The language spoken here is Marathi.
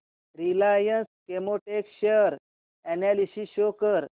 Reliance Chemotex share analysis show कर